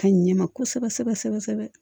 Ka ɲɛ ma kosɛbɛ sɛbɛ sɛbɛ kosɛbɛ kosɛbɛ